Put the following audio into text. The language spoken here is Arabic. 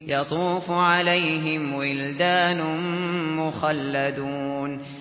يَطُوفُ عَلَيْهِمْ وِلْدَانٌ مُّخَلَّدُونَ